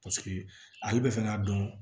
Paseke ale bɛ fɛ k'a dɔn